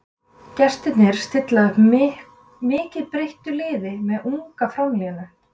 Gestirnir stilla upp mikið breyttu liði með unga framlínu.